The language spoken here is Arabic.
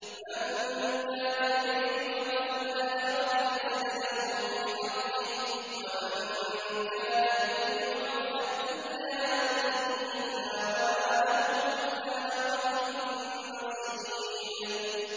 مَن كَانَ يُرِيدُ حَرْثَ الْآخِرَةِ نَزِدْ لَهُ فِي حَرْثِهِ ۖ وَمَن كَانَ يُرِيدُ حَرْثَ الدُّنْيَا نُؤْتِهِ مِنْهَا وَمَا لَهُ فِي الْآخِرَةِ مِن نَّصِيبٍ